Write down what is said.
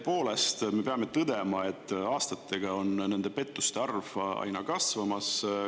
Tõepoolest, me peame tõdema, et aastatega on nende pettuste arv aina kasvamas.